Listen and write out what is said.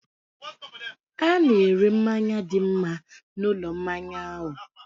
Hà na-ere mmanya dị mma na ulo mmanya ahụ?